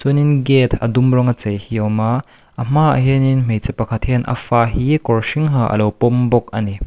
chuanin gate a dum rawnga chei hi a awm a a hmaah hianin hmeichhe pakhat hianin a fa hi kawr hring ha a lo pawm bawk a ni.